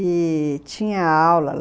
E tinha aula.